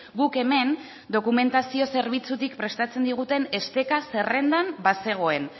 guk hemen dokumentazio zerbitzutik prestatzen diguten esteka zerrendan bazegoen